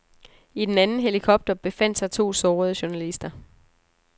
I den anden helikopter befandt sig to sårede journalister.